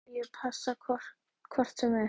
Ekkert af fötum Júlíu passi hvort sem er.